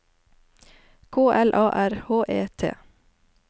K L A R H E T